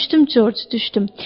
Düşdüm, Corc, düşdüm.